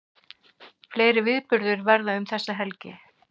Fleiri viðburðir verða um þessa helgi